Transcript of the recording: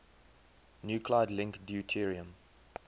nuclide link deuterium